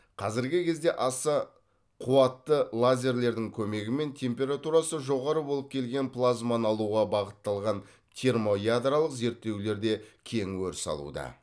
қазіргі кезде аса қуатты лазерлердің көмегімен температурасы жоғары болып келген плазманы алуға бағытталған термоядролық зерттеулер де кең өріс алуда